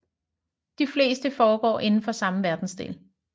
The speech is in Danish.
De fleste foregår indenfor samme verdensdel